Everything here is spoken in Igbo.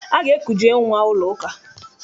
A ga-ekuje nnwa ụlọụka.